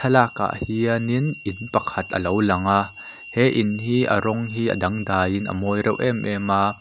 thlalakah hianin in pakhat a lo lang a he in hi a rawng hi a dangdaiin a mawi reuh em em a.